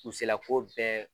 U se la ko bɛɛ